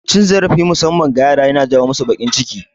Cin zarafi musamman ga yara yana ja masu bakin ciki